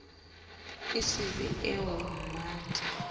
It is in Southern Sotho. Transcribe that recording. e se be eo mmate